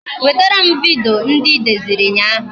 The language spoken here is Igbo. Wetara m vidiyo ndị I deziri ụnyaahụ